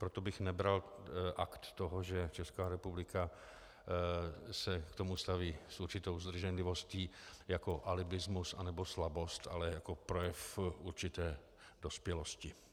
Proto bych nebral akt toho, že Česká republika se k tomu staví s určitou zdrženlivostí, jako alibismus nebo slabost, ale jako projev určité dospělosti.